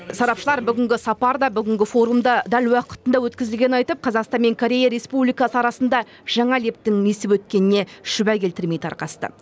сарапшылар бүгінгі сапар да бүгінгі форум да дәл уақытында өткізілгенін айтып қазақстан мен корея республикасы арасында жаңа лептің есіп өткеніне шүбә келтірмей тарқасты